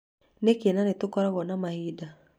Nĩkĩ nĩ tũkoragwo na mahinda